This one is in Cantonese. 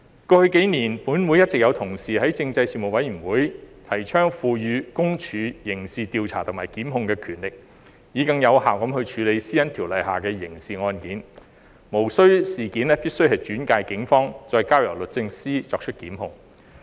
過去幾年，本會一直有同事在政制事務委員會提倡賦予私隱公署刑事調查和檢控的權力，以更有效地處理《私隱條例》下的刑事案件，無須必定將事件轉介予警方，再交由律政司作出檢控。